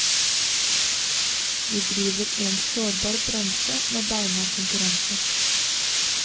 Vi driver i en sårbar bransje med beinhard konkurranse.